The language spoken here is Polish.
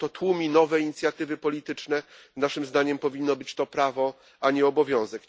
To tłumi nowe inicjatywy polityczne. Naszym zdaniem powinno być to prawo, a nie obowiązek.